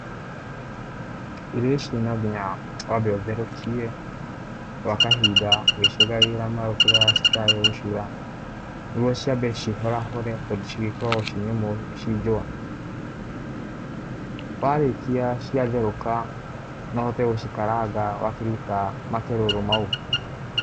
Irio ici no nginya wambe ũtherũkie gwa kahinda ũgĩciongagĩrĩra maĩ ũkĩroraga citikae gũcura, nĩguo ciambe cihorahore tondũ cigĩkoragwo ciĩ nyũmũ ciĩ njũa, warĩkia ciatherũka no ũhote gũcikaranga wakĩruta makerũro mau.